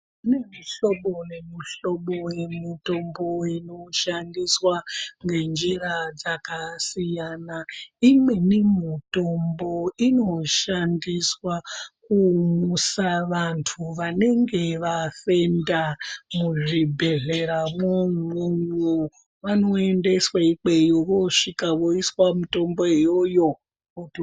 Kune muhlobo nemihlobo yemitombo inoshandiswa ngenjira dzakasiyana. Imweni mitombo inoshandiswa kumusa vantu vanenge vafenda muzvibhedhlera mwo mwomwo. Vanoendeswa ikweyo voosvika voiswa mitombo iyoyo voto.